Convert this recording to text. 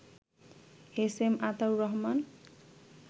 SM Ataur Rahman